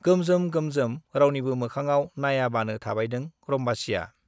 गोमजोम गोमजोम रावनिबो मोखाङाव नाइयाबानो थाबायदों रम्बसीया।